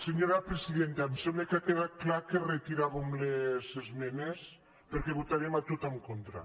senyora presidenta em sembla que ha quedat clar que retiràvem les esmenes perquè votarem a tot en contra